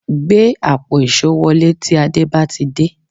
Gbé àpò èṣó wọlé tí Àdé bá ti dé